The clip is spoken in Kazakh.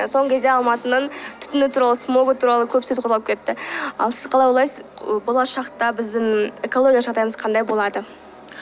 соңғы кезде алматының түтіні туралы смогі туралы көп сөз қозғалып кетті ал сіз қалай ойлайсыз і болашақта біздің экологиялық жағдайымыз қандай болады